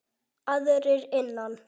Aðrir innan